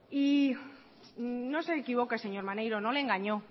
y no se equivoque señor maneiro no le engañó